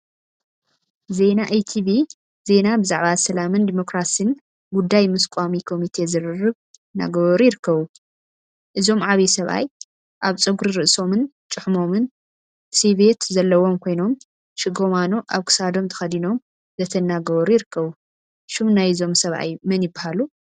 ዜና ኢቲቪ ዜና ብዛዕባ ሰላምን ዲሞክራሲን ጉዳይ ምስ ቋሚ ኮሚቴ ዝርርብ እናገበሩ ይርከቡ፡፡ እዞም ዓብይ ሰብአይ አብ ፀጉሪ ርእሶምን ጭሕሞምን ስይበት ዘለዎም ኮይኖም ሽጋማኖ አብ ክሳዶም ተከዲኖም ዘተ እናገበሩ ይርከቡ፡፡ ሽም ናይዞም ሰብአይ መን ይበሃሉ?